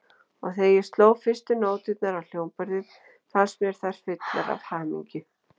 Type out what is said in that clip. Og þegar ég sló fyrstu nóturnar á hljómborðið, fannst mér þær fullar af hamingju.